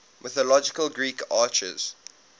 mythological greek archers